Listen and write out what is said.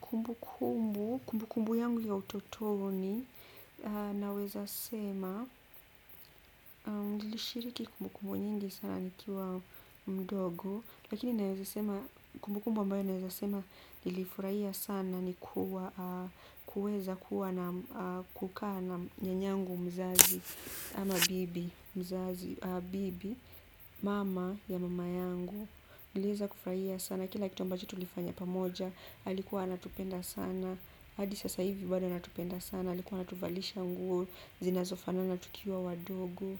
Kumbukumbu, kumbukumbu yangu ya utotoni, naweza sema, nilishiriki kumbukumbu nyingi sana nikiwa mdogo. Lakini naweza sema, kumbukumbu ambayo naweza sema, nilifurahia sana ni kuwa, kuweza kuwa na kukaa na nyanyangu mzazi ama bibi, mama ya mama yangu. Niliweza kufuraia sana, kila kitu ambacho tulifanya pamoja alikuwa anatupenda sana hadi sasa hivi bado anatupenda sana alikuwa anatuvalisha nguo zinazofanana tukiwa wadogo